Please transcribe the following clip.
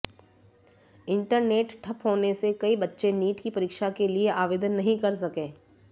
internet ठप होने से कई बच्चे नीट की परीक्षा के लिए आवेदन नहीं कर सके